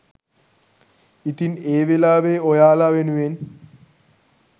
ඉතින් ඒ වෙලාවේ ඔයාලා වෙනුවෙන්